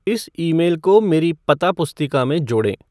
इस ईमेल को मेरी पता पुस्तिका में जोड़ें